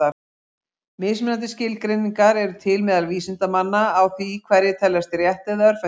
Mismunandi skilgreiningar eru til meðal vísindamanna á því hverjir teljist rétt- eða örvhentir.